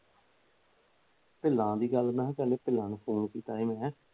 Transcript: ਦੀ ਗੱਲ ਮੈ ਪਹਿਲਾ ਫੋਨ ਕੀਤਾ ਸੀ ਮੈ